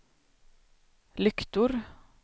lyktor